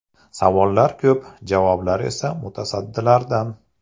Savollar ko‘p, javoblar esa mutasaddilardan.